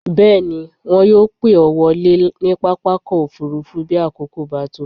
Bẹ́ẹ̀ ni, wọn yóò pè ọ́ wọlé ní pápákọ̀-òfurufú bí àkókò bá tó.